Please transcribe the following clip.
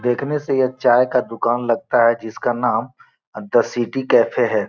देखने से यह चाय का दुकान लगता है जिसका नाम द सिटी कैफ़े है।